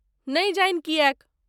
नहि जानि किएक।